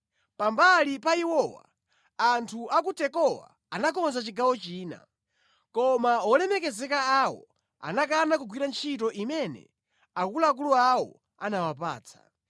Pambali pa iwowa anthu a ku Tekowa anakonza chigawo china. Koma wolemekezeka awo anakana kugwira ntchito imene akuluakulu awo anawapatsa.